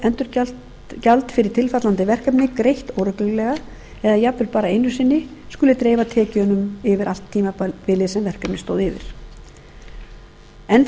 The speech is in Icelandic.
sé endurgjald fyrir tilfallandi verkefni greitt óreglulega eða jafnvel bara einu sinni skuli dreifa tekjunum yfir allt tímabilið sem verkefnið stóð yfir enn fremur er